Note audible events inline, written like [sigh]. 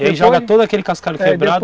[unintelligible] ele joga todo aquele cascalho quebrado [unintelligible]